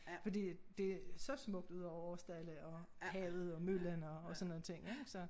Fordi at det så smukt ud over Aarsdale og havet og møllen og og sådan nogen ting ik så